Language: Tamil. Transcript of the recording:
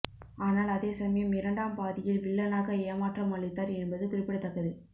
ஆனால் அதேசமயம் இரண்டாம் பாதியில் வில்லனாக ஏமாற்றம் அளித்தார் என்பது குறிப்பிடத்தக்கது